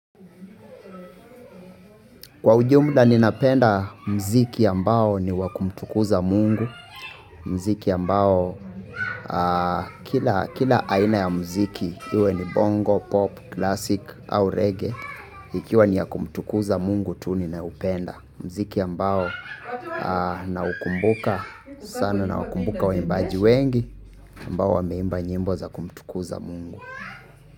Kwa ujumla ninapenda muziki ambao ni wakumtukuza mungu muziki ambao kila aina ya muziki iwe ni bongo, pop, classic au reggae. Ikiwa ni ya kumtukuza mungu tu ninaupenda muziki ambao naukumbuka sana naukumbuka waimbaji wengi ambao wameimba nyimbo za kumtukuza mungu.